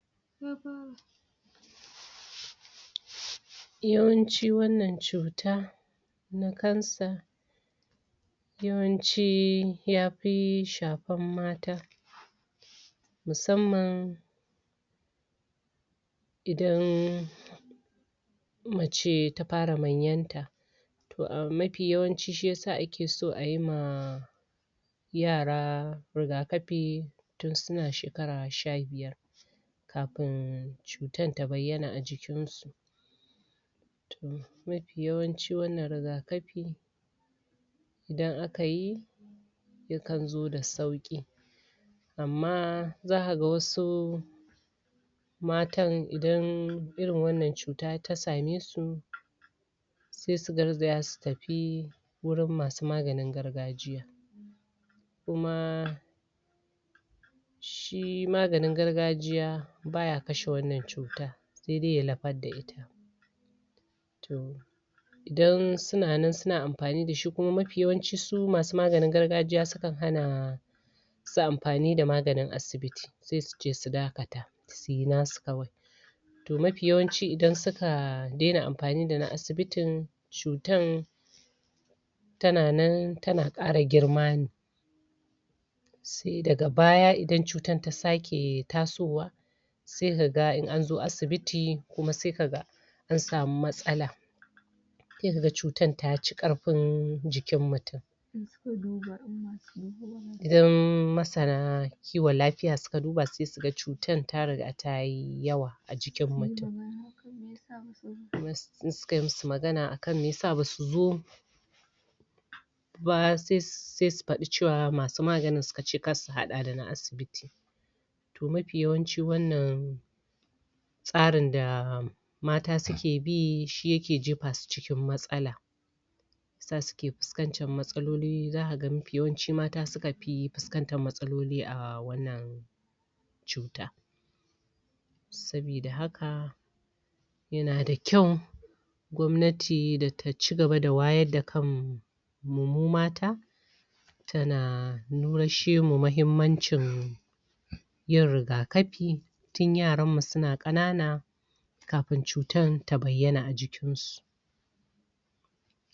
Yawanci wannan cuta na cancer [ciwon daji] yawanci yapi shapan mata, musamman idan mace ta para manyanta toh mapi yawanci shi yasa ake so ayi ma yara rigakapi tin suna shekara sha biyar kapin cutan ta bayyana a jikin su toh mapi yawancin wanna rigakapi idan akayi yakan zo da sauƙi. Amma zaka ga wasu matan idan irin wannan cuta ta sa me su sesu garzaya su tafi wurin masu maganin gargajiya. Kuma shi maganin gargajiya baya kashe wannan cuta se dai ya lapar da se dai ya lapar da ita. toh idan suna nan suna ampani da shi kuma mapiyawancin su masu maganin gargajiya sukan hana su amfani da maganin asibiti se suce su dakata suyi nasu kawai toh mapi yawanci idan suka dena ampani dana asibitin cutan tana nan tana ƙara girma ne se daga baya idan cutan ta sake tasowa se kaga in anzo asibiti kuma se kaga an samu matsala. Se kaga cutan taci ƙarfin jikin mutum idan masana kiwon lafiya suka duba se suga cutan ta riga tayi yawa a jikin mutum. se sukayi musu magana akan mesa basu zo ba se su padi cewa masu maganin suka ce kar su haɗa dana asibiti toh mapi yawanci wannan tsarin da mata suke bi shi yake jepa su cikin matsala za suke piskancin matsaloli zaka ga mafi yawanci mata suka pi piskantar matsaloli a wannan cuta. Sabida haka yana da ƙyau gwamnati da ta cigaba da wayar da kan mu mu mata, tana nurashemu mahimmancin yin rigaƙapi tin yaran mu suna ƙanana kapin cutan ta bayyana a jikinsu.